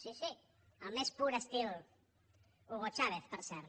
sí sí al més pur estil hugo chávez per cert